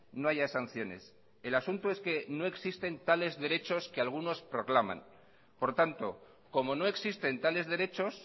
no haya sanciones el asunto es que no existe tales derechos que algunos proclaman por tanto como no existen tales derechos